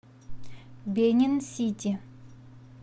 бенин сити